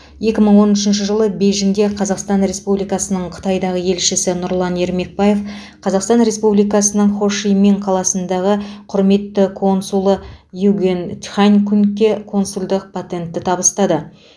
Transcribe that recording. екі мың он үшінші жылы бейжіңде қазақстан республикасының қытайдағы елшісі нұрлан ермекбаев қазақстан республикасының хошимин қаласындағы құрметті консулы югуен тхань хунгке консулдық патентті табыстады